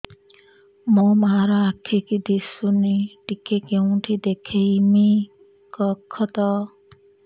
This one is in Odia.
ମୋ ମା ର ଆଖି କି ଦିସୁନି ଟିକେ କେଉଁଠି ଦେଖେଇମି କଖତ